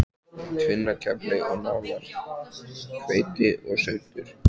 Tvinnakefli og nálar, hveiti og svuntur.